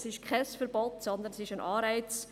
Es ist kein Verbot, sondern es ist ein Anreiz.